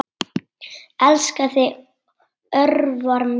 Elska þig, Örvar minn.